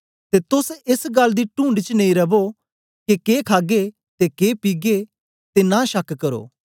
ते तोस एस गल्ल दी टूणढ च नेई रवो के के खागे ते के पीगे ते नां शक करो